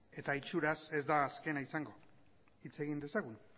eta itxuraz ez da azkena izango hitz egin dezagun